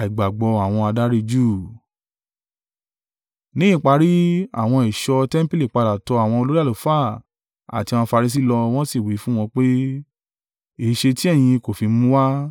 Ní ìparí, àwọn ẹ̀ṣọ́ tẹmpili padà tọ àwọn olórí àlùfáà àti àwọn Farisi lọ, wọ́n sì wí fún wọn pé, “Èéṣe tí ẹ̀yin kò fi mú un wá?”